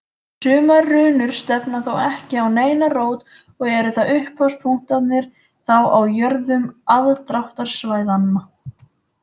Sumar runur stefna þó ekki á neina rót og eru upphafspunktarnir þá á jöðrum aðdráttarsvæðanna.